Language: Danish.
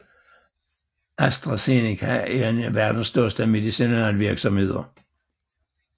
AstraZeneca er én af verdens største medicinalvirksomheder